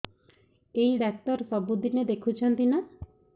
ଏଇ ଡ଼ାକ୍ତର ସବୁଦିନେ ଦେଖୁଛନ୍ତି ନା